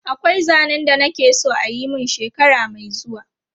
Akwai zanen da na ke so a yi mun shekara mai zuwa.